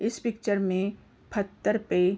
इस पिक्चर में फतर पे --